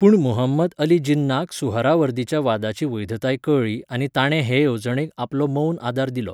पूण मुहंमद अली जिन्नाक सुहरावर्दीच्या वादाची वैधताय कळ्ळी आनी ताणें हे येवजणेक आपलो मौन आदार दिलो.